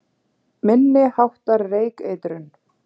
Minni háttar reykeitrun